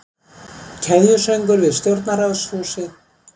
Keðjusöngur við stjórnarráðshúsið